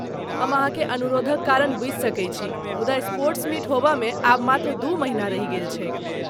हम अहाँके अनुरोधक कारण बुझि सकैत छी मुदा स्पोर्ट्स मीट होबयमे आब मात्र दू महिना रहि गेल छैक।